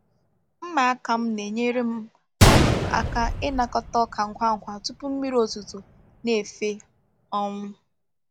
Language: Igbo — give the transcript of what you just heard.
Mma aka m na-enyere m um aka ịnakọta ọka ngwa ngwa tupu mmiri ozuzo na-efee. um